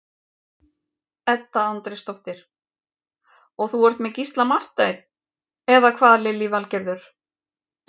Edda Andrésdóttir: Og þú ert með Gísla Martein, eða hvað Lillý Valgerður?